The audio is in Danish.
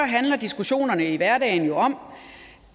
handler diskussionerne i hverdagen jo om